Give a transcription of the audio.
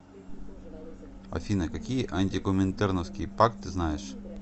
афина какие антикоминтерновский пакт ты знаешь